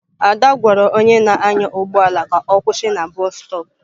Ada gwara onye na-anya ụgbọ ala ka ọ kwụsị na bọstop.